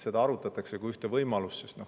Seda arutatakse kui ühte võimalust.